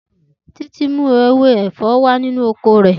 Titi mu ewe efo wa ninu oko re.